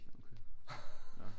Ja okay nå